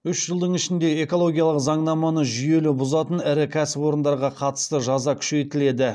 үш жылдың ішінде экологиялық заңнаманы жүйелі бұзатын ірі кәсіпорындарға қатысты жаза күшейтіледі